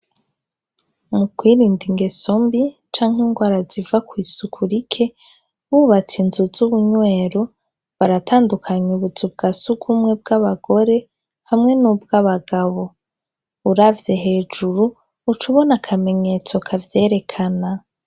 Mu kwirinda ingeso mbi canke ingwara ziva kw'isuku rike, bubatse inzu z'ubunywero baratandukanya ubuzu bwa sugumwe bw'abagore hamwe n'ubwabagabo, uravye hejuru ucubona akamenyetso kavyerekana.